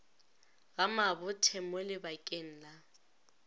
ga mabothe mo lebakeng la